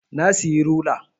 Na siyi rula